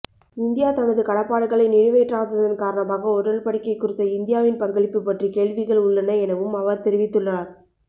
India தனது கடப்பாடுகளை நிறைவேற்றாததன் காரணமாகஉடன்படிக்கை குறித்த இந்தியாவின் பங்களிப்பு பற்றி கேள்விகள் உள்ளன எனவும் அவர்தெரிவித்துள்ளார்